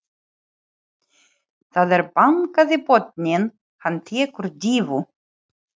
Það er bankað í botninn, hann tekur dýfu.